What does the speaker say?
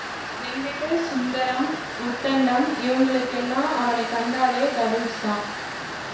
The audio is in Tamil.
வெங்கிட்டு சுந்தரம் உத்தண்டம் இவங்களுக்கெல்லாம் அவனை கண்டாலே டபிள்ஸ் தான்